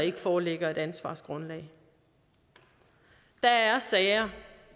ikke foreligger et ansvargrundlag der er sager